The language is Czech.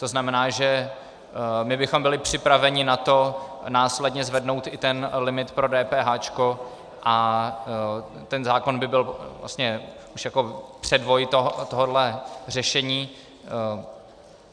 To znamená, že my bychom byli připraveni na to následně zvednout i ten limit pro dépéháčko a ten zákon by byl vlastně už jako předvoj tohohle řešení.